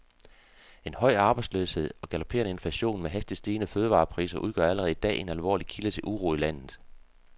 En høj arbejdsløshed og galopperende inflation med hastigt stigende fødevarepriser udgør allerede i dag en alvorlig kilde til uro i landet.